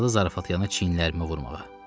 Başladı zarafatyana çiyinlərimə vurmağa.